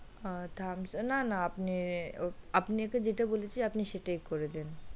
আ thumbs up না না আপনি আপনাকে যেটা বলেছি আপনি সেটাই করে দিন।